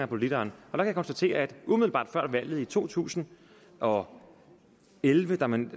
på literen jeg kan konstatere at umiddelbart før valget i to tusind og elleve da man